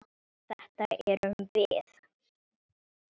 Þetta erum við.